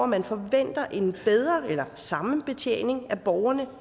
man forventer en bedre eller samme betjening af borgerne